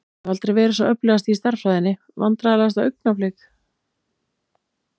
Hef aldrei verið sá öflugasti í stærðfræðinni Vandræðalegasta augnablik?